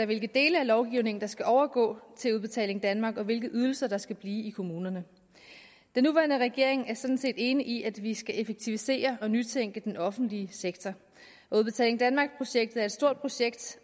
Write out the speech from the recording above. hvilke dele af lovgivningen der skal overgå til udbetaling danmark og hvilke ydelser der skal blive i kommunerne den nuværende regering er sådan set enig i at vi skal effektivisere og nytænke den offentlige sektor udbetaling danmark projektet er et stort projekt